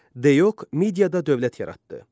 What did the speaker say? Deok mediada dövlət yaratdı.